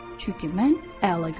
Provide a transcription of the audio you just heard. Çünki mən əla görürəm.